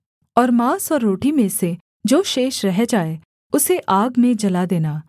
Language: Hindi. और माँस और रोटी में से जो शेष रह जाए उसे आग में जला देना